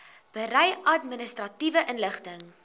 berei administratiewe inligting